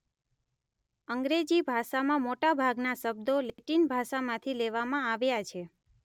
અંગ્રેજી ભાષામાં મોટા ભાગના શબ્દો લેટિન ભાષામાંથી લેવામાં આવ્યા છે.